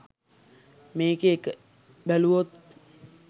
මේකේ එක බැලුවොත්